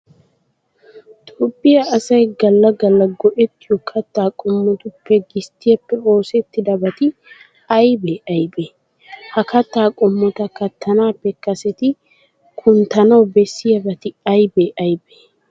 Toophphiya asay galla galla go"ettiyo kattaa qommotuppe gisttiyappe oosettidabati aybee aybee? Ha kattaa qommota kattanaappe kaseti kunttanawu bessiyabati aybee aybee?